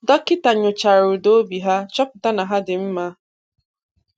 Dọkịta nyochara ụda obi ha, chọpụta na ha dị mma.